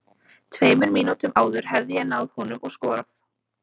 Tveimur mínútum áður hefði ég náð honum og skorað.